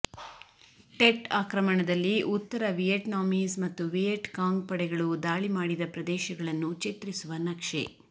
TET ಆಕ್ರಮಣದಲ್ಲಿ ಉತ್ತರ Vietnamese ಮತ್ತು ವಿಯೆಟ್ ಕಾಂಗ್ ಪಡೆಗಳು ದಾಳಿ ಮಾಡಿದ ಪ್ರದೇಶಗಳನ್ನು ಚಿತ್ರಿಸುವ ನಕ್ಷೆ